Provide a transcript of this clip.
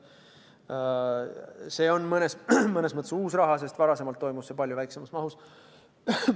See on mõnes mõttes uus raha, sest varasemalt toimus see palju väiksemas mahus.